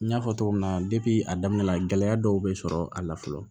N y'a fɔ cogo min na a daminɛ la gɛlɛya dɔw bɛ sɔrɔ a la fɔlɔ